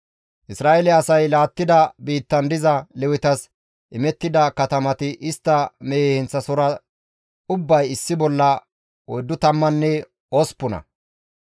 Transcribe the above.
Isra7eele asay laattida biittan diza Lewetas imettida katamati istta mehe heenththasohora ubbay issi bolla oyddu tammanne osppuna.